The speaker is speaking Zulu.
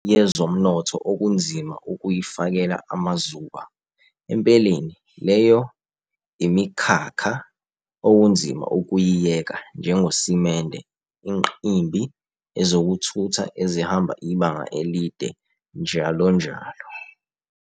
Umnotho wehwanzi usebenzisa iHwanzi ukuze ukhiphe umcalahle emikhakheni yezomnotho okunzima ukuyifakela amazuba, empeleni, leyo imikhakha "okunzima ukuyiyeka" njengosimende, inqimbi, ezokuthutha ezihamba ibanga elide njll.